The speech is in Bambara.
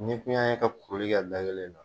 N'i kun y'an ye ka kuruli kɛ da kelen na